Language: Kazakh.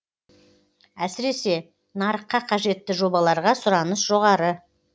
әсіресе нарыққа қажетті жобаларға сұраныс жоғары